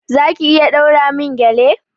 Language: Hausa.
Za ki iya ɗaura min gƴale?